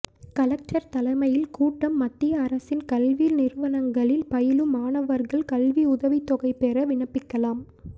collector தலைமையில் கூட்டம் மத்திய அரசின் கல்வி நிறுவனங்களில் பயிலும் மாணவர்கள் கல்வி உதவித்தொகை பெற விண்ணப்பிக்கலாம்